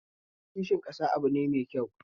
Kishin ƙasa abu ne mai kyau